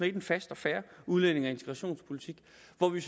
et en fast og fair udlændinge og integrationspolitik